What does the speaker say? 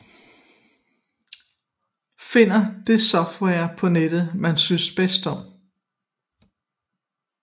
Finde det software på nettet man synes bedst om